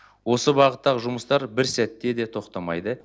осы бағыттағы жұмыстар бір сәтте де тоқтамайды